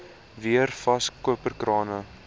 weer vas koperkrane